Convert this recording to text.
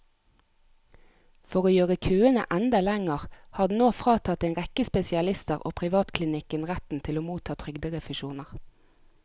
For å gjøre køene enda lengre har den nå fratatt en rekke spesialister og privatklinikker retten til å motta trygderefusjoner.